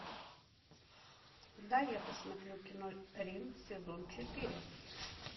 дай я посмотрю кино рим сезон четыре